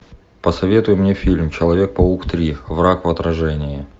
посоветуй мне фильм человек паук три враг в отражении